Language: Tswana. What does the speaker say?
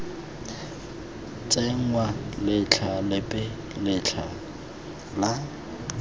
tsenngwa letlha lepe letlha la